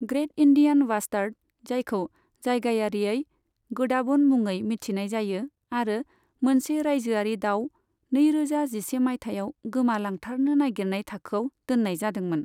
Great Indian bastard, जायखौ जायगायारियै गोडाबण मुङै मिथिनाय जायो आरो मोनसे रायजोयारि दाउ, नै रोजा जिसे मायथाइयाव गोमा लांथारनो नागिरनाय थाखोआव दोन्नाय जादोंमोन।